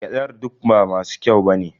Gyadar duk ba masu kyau ba ne.